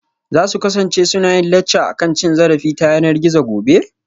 Za su kasance suna yin lacca akan cin zarafi ta yanar gizo gobe?